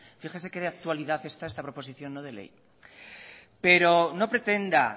fíjese que de actualidad está esta proposición no de ley pero no pretenda